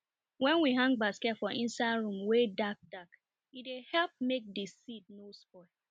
wen we hang basket for inside room wey dark dark e dey help make di seed nor spoil